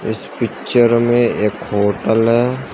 इस पिक्चर में एक होटल है।